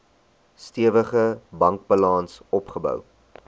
stewige bankbalans opgebou